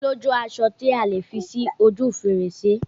O lójú aṣọ tí a lè fi sí ojú fèrèsé